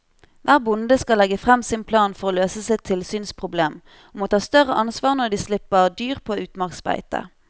Hver bonde skal legge frem sin plan for å løse sitt tilsynsproblem og må ta større ansvar når de slipper dyr på utmarksbeite.